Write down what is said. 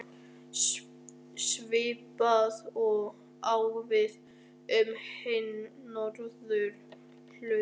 Svipað á við um hin Norðurlöndin.